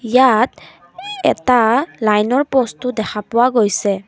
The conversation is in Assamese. ইয়াত এটা লাইনৰ প'ষ্টো দেখা পোৱা গৈছে।